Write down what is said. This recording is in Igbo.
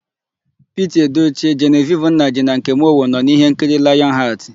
Piti Edoche, Jenevivi Nnaji na Nkem Owo nọ n'íhénkiri Layọn Hatị.